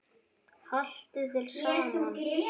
Haltu þér saman